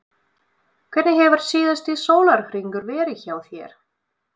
Hvernig hefur síðasti sólarhringur verið hjá þér?